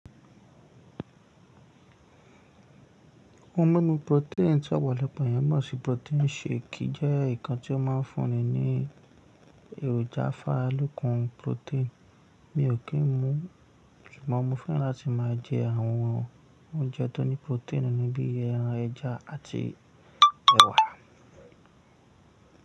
Oun mímu protein tí agbalagba eyan mọ̀ sí protein shake jẹ́ ǹkan tí ó máa ń fúnni ní èròjà afárálọkùn protein. Mi ò kí ń mu, ṣùgbọ́n mo fẹ́ràn láti máa jẹ àwọn oúnjẹ tó ní protein nínú bíi ẹran, ẹja àti ẹ̀wà.